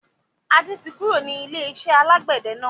Adé tí kúrò ní ilé-iṣẹ́ alàgbẹ̀dẹ náà.